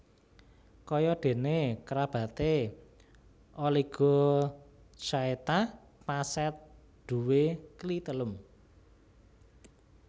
Kaya déné kerabaté Oligochaeta pacet duwé klitelum